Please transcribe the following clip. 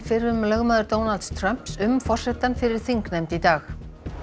fyrrum lögmaður Donalds Trumps um forsetann fyrir þingnefnd í dag